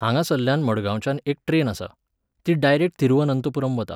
हांगासल्ल्यान मडगांवच्यान एक ट्रॅन आसा. ती डायरेक्ट थिरुवनंतपुरम वता.